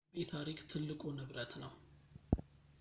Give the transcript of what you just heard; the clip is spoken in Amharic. በኢቤይ ታሪክ ትልቁ ንብረት ነው